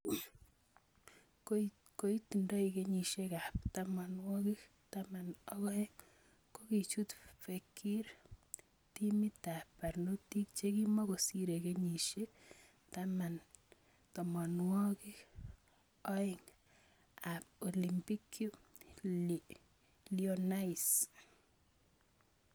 Koitindo kenyisiek ab 12, kokichut Fekir timit ab barnotik chekimokosire kenyisiek 12 ab Olympique Lyonnais.